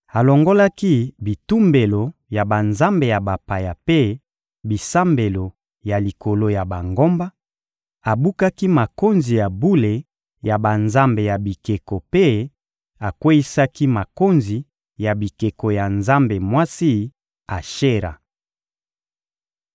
Alongolaki bitumbelo ya banzambe ya bapaya mpe bisambelo ya likolo ya bangomba, abukaki makonzi ya bule ya banzambe ya bikeko mpe akweyisaki makonzi ya bikeko ya nzambe mwasi Ashera.